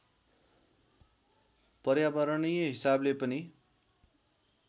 पर्यावरणीय हिसाबले पनि